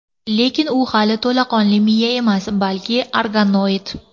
Lekin u hali to‘laqonli miya emas, balki organoid.